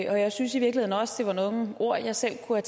og jeg synes i virkeligheden også at der var nogle ord jeg selv kunne